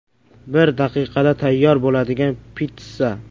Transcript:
Bir daqiqada tayyor bo‘ladigan pitssa.